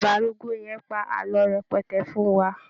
Bàbá arúgbó yẹn pa àlọ́ rẹpẹtẹ fún wa.